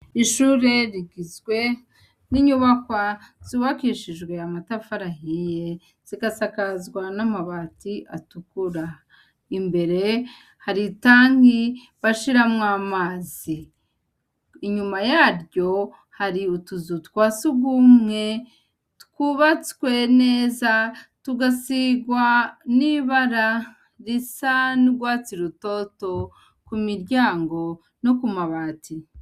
Ishure rigizwe n'inyubakwa zubakishijwe amatafari ahiye, zigasakazwa n'amabati atukura, imbere hari itangi bashiramwo amazi, inyuma yaryo hari utuzu twa sugumwe twubatswe neza, tugasigwa n'ibara risa n'urwatsi rutoto ku miryango no ku mabati.